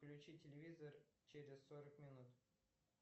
включи телевизор через сорок минут